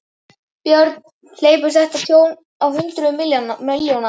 Björn: Hleypur þetta tjón á hundruðum milljóna?